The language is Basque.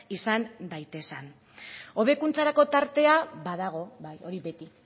izan daitezen hobekuntzarako tartea badago bai hori beti